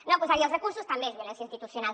no posar hi els recursos també és violència institucional